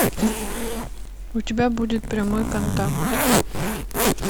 у тебя будет прямой контакт